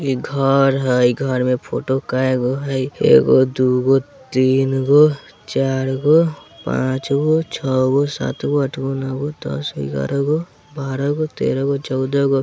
इ घर हेय घर मे फ़ोटो काइगो हेय एगो दुगो तिनगो चारगो पांचगो छ गो सातगो आठगो नोगो दसगो ग्यारह गो बारा गो तेरागो चौदागो।